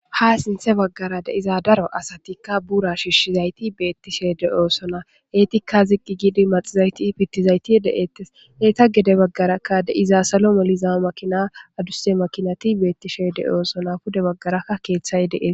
Ha siinththe baggara de izaa daro asatikka buura shiishshizayti beettishe de'oosona eetikka zigqi gidi maxizayti pittizayti de'eettes eeta gede baggarakka de'iza salo moliza makina adusse makinati beettishe de'oosona pude baggarakka keeththay de'ees